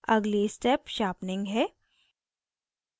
अगली step sharpening है